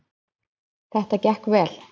Þetta gekk vel